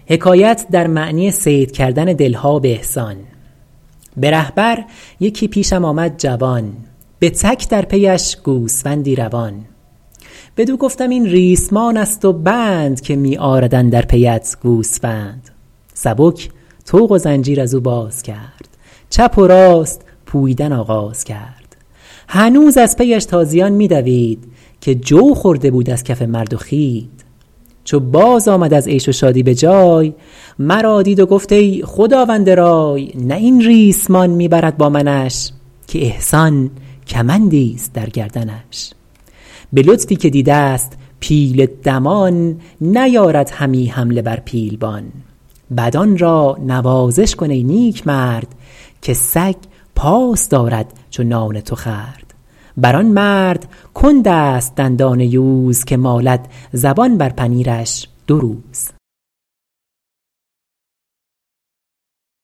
به ره بر یکی پیشم آمد جوان به تک در پیش گوسفندی دوان بدو گفتم این ریسمان است و بند که می آرد اندر پیت گوسفند سبک طوق و زنجیر از او باز کرد چپ و راست پوییدن آغاز کرد هنوز از پیش تازیان می دوید که جو خورده بود از کف مرد و خوید چو باز آمد از عیش و شادی به جای مرا دید و گفت ای خداوند رای نه این ریسمان می برد با منش که احسان کمندی است در گردنش به لطفی که دیده ست پیل دمان نیارد همی حمله بر پیلبان بدان را نوازش کن ای نیکمرد که سگ پاس دارد چو نان تو خورد بر آن مرد کند است دندان یوز که مالد زبان بر پنیرش دو روز